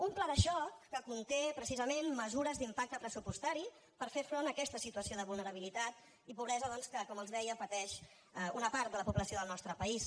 un pla de xoc que conté precisament mesures d’impacte pressupostari per fer front a aquesta situació de vulnerabilitat i pobresa doncs que com els deia pateix una part de la població del nostre país